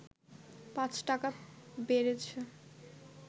৫ টাকা বেড়েছে